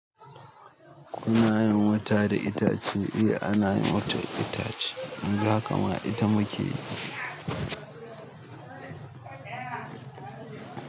Kuna yin wuta da itace? Eh ana yin wuta da itace. Yanzu haka ma ita muke yi.